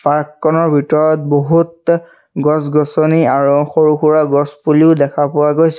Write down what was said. Park খনৰ ভিতৰত বহুত গছ-গছনি আৰু সৰু সুৰা গছ পুলিও দেখা পোৱা গৈছে।